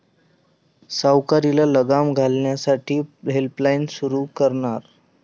सावकारीला लगाम घालण्यासाठी हेल्पलाईन सुरू करणार'